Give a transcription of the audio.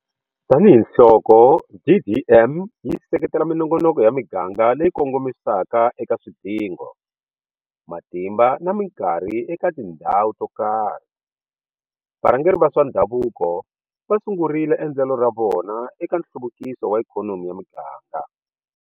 Tanihiloko DDM yi seketela minongonoko ya miganga leyi kongomisaka eka swidingo, matimba na mikarhi eka tindhawu to karhi, varhangeri va swa ndhavuko va sungurile endlelo ra vona eka nhluvukiso wa ikhonomi ya miganga.